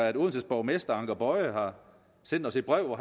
at odenses borgmester anker boye har sendt os et brev hvor